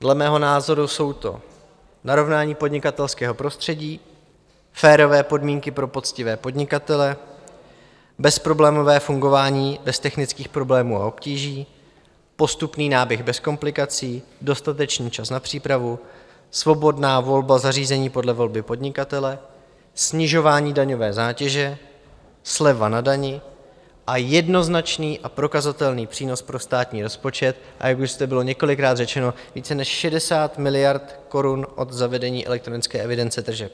Dle mého názoru jsou to narovnání podnikatelského prostředí, férové podmínky pro poctivé podnikatele, bezproblémové fungování bez technických problémů a obtíží, postupný náběh bez komplikací, dostatečný čas na přípravu, svobodná volba zařízení podle volby podnikatele, snižování daňové zátěže, sleva na dani a jednoznačný a prokazatelný přínos pro státní rozpočet, a jak už zde bylo několikrát řečeno, více než 60 miliard korun od zavedení elektronické evidence tržeb.